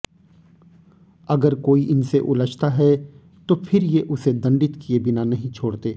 अगर कोई इनसे उलझता है तो फिर ये उसे दण्डित किये बिना नहीं छोड़ते